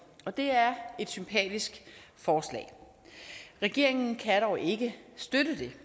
og det er et sympatisk forslag regeringen kan dog ikke støtte det